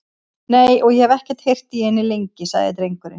Nei, og ég hef ekki heyrt í henni lengi, sagði drengurinn.